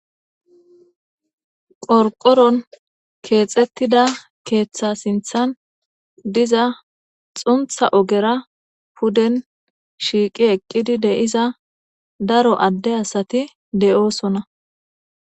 qorqoron keexettida keeththa sinthan diza xuntha ogera puden shiiqi eqqidi deiza daro adde asati deyoosona